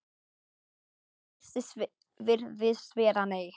Svarið virðist vera nei.